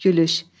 Gülüş.